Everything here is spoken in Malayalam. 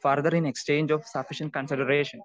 Speaker 2 further in exchange of sufficient consideration.